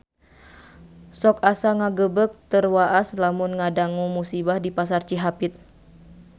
Sok asa ngagebeg tur waas lamun ngadangu musibah di Pasar Cihapit